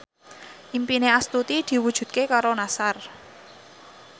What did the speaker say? impine Astuti diwujudke karo Nassar